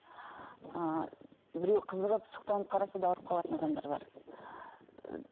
ы біреу қызығып сұқтанып қараса да ауырып қалатын адамдар бар